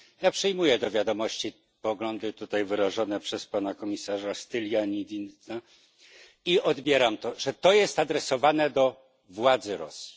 Ja przyjmuję do wiadomości poglądy tutaj wyrażone przez pana komisarza Stylianidesa i odbieram to, że to jest adresowane do władzy Rosji.